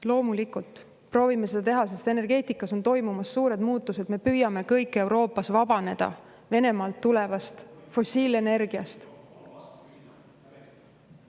Loomulikult proovime seda teha, sest energeetikas on toimumas suured muutused, me püüame kõik Euroopas vabaneda Venemaalt tulevast fossiilenergiast.